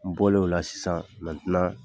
N bɔlen o la sisan